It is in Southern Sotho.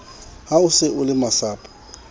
ha o se o lemasapo